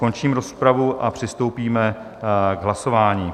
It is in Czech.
Končím rozpravu a přistoupíme k hlasování.